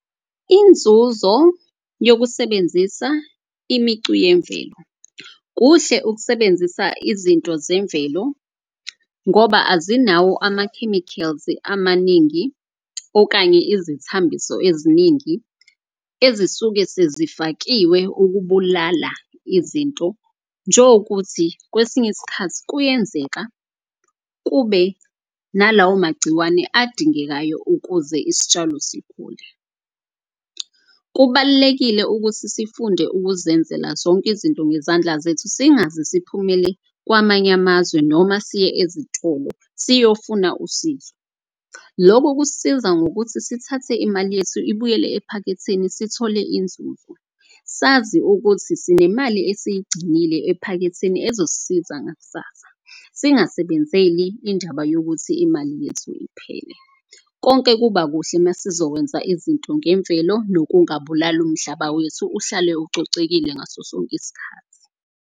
Inzuzo yokusebenzisa imicu yemvelo, kuhle ukusebenzisa izinto zemvelo ngoba azinawo ama-chemicals amaningi. Okanye izithambiso eziningi ezisuke sezifakiwe ukubulala izinto. Njengokuthi kwesinye isikhathi kuyenzeka kube nalawo magciwane adingekayo ukuze isitshalo sikhule. Kubalulekile ukuthi sifunde ukuzenzela zonke izinto ngezandla zethu. Singaze siphumele kwamanye amazwe noma siye ezitolo siyofuna usizo. Loku kusisiza ngokuthi sithathe imali yethu ibuyele ephaketheni, sithole inzuzo. Sazi ukuthi sinemali esiyigcinile ephaketheni ezosisiza ngakusasa, singasebenzeli indaba yokuthi imali yethu iphele. Konke kuba kuhle masizokwenza izinto ngemvelo nokungabulali umhlaba wethu, uhlale ukucocekile ngaso sonke iskhathi.